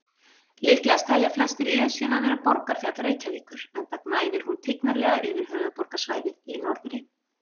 Líklegast telja flestir Esjuna vera borgarfjall Reykjavíkur, enda gnæfir hún tignarlega yfir höfuðborgarsvæðið í norðri.